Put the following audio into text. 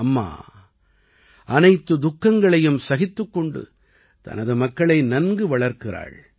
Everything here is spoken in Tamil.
அம்மா அனைத்து துக்கங்களையும் சகித்துக் கொண்டு தனது மக்களை நன்கு வளர்க்கிறாள்